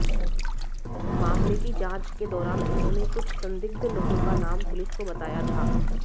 मामले की जांच के दौरान उन्होंने कुछ संदिग्ध लोगों का नाम पुलिस को बताया था